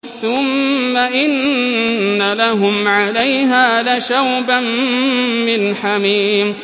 ثُمَّ إِنَّ لَهُمْ عَلَيْهَا لَشَوْبًا مِّنْ حَمِيمٍ